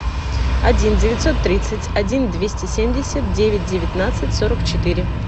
один девятьсот тридцать один двести семьдесят девять девятнадцать сорок четыре